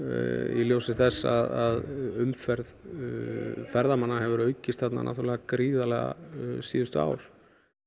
í ljósi þess að umferð ferðamanna hefur aukist gríðarlega síðustu ár